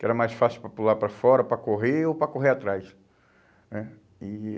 Que era mais fácil para pular para fora, para correr ou para correr atrás, né? E